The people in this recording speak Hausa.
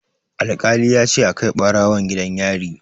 Alƙali ya ce a kai ɓarawon gidan yari.